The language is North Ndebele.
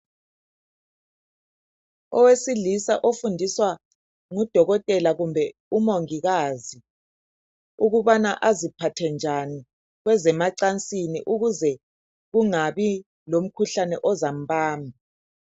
Owesilisa ofundiswa ngudokotela kumbe umongikazi ukubana aziphathe njani kwezemacansini ukuze kungabi lomkhuhlane ozambamba.